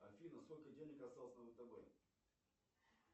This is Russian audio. афина сколько денег осталось на втб